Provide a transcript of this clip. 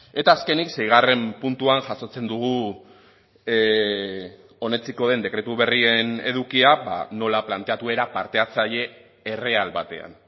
eta azkenik seigarren puntuan jasotzen dugu onetsiko den dekretu berrien edukia nola planteatu era parte hartzaile erreal batean